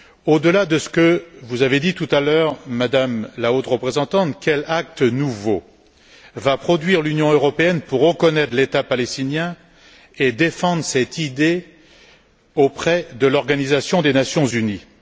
Au delà de ce que vous avez dit tout à l'heure, Madame la Haute représentante, quels actes nouveaux va produire l'Union européenne pour reconnaître l'État palestinien et défendre cette idée auprès de l'Organisation des Nations unies?